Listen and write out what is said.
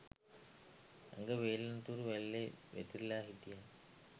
ඇඟ වේලෙන තුරු වැල්ලෙ වැතිරිලා හිටියා